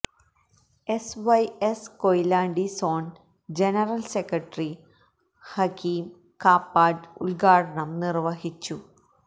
S Y S Koyilandy zone general secretary Hakeem Kappad ഉദ്ഘാടനം നിര്വഹിച്ചു